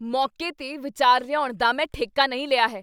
ਮੌਕੇ 'ਤੇ ਵਿਚਾਰ ਲਿਆਉਣ ਦਾ ਮੈਂ ਠੇਕਾ ਨਹੀਂ ਲਿਆ ਹੈ।